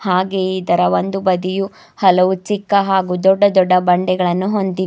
ಹಾಗೆ ಇದರ ಒಂದು ಬದಿಯು ಹಲವು ಚಿಕ್ಕ ಹಾಗು ದೊಡ್ಡ ದೊಡ್ಡ ಬಂಡೆಗಳನ್ನು ಹೊಂದಿ--